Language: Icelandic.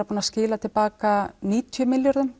búinn að skila til baka níutíu milljörðum